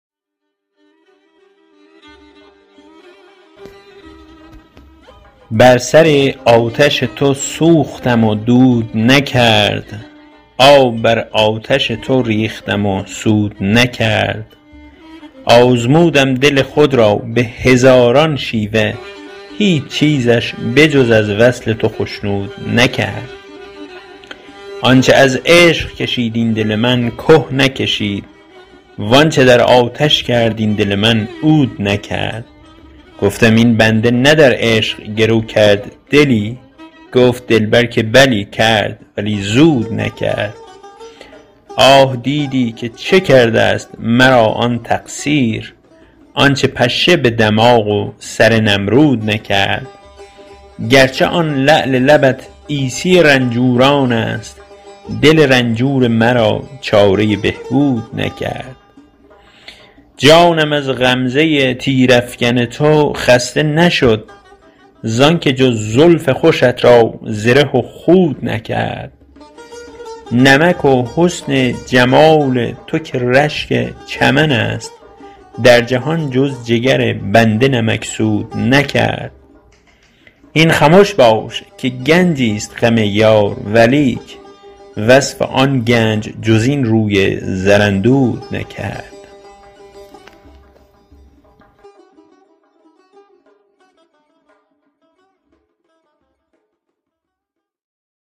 بر سر آتش تو سوختم و دود نکرد آب بر آتش تو ریختم و سود نکرد آزمودم دل خود را به هزاران شیوه هیچ چیزش به جز از وصل تو خشنود نکرد آنچ از عشق کشید این دل من که نکشید و آنچ در آتش کرد این دل من عود نکرد گفتم این بنده نه در عشق گرو کرد دلی گفت دلبر که بلی کرد ولی زود نکرد آه دیدی که چه کردست مرا آن تقصیر آنچ پشه به دماغ و سر نمرود نکرد گرچه آن لعل لبت عیسی رنجورانست دل رنجور مرا چاره بهبود نکرد جانم از غمزه تیرافکن تو خسته نشد زانک جز زلف خوشت را زره و خود نکرد نمک و حسن جمال تو که رشک چمن است در جهان جز جگر بنده نمکسود نکرد هین خمش باش که گنجیست غم یار ولیک وصف آن گنج جز این روی زراندود نکرد